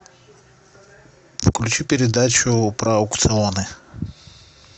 включи передачу про аукционы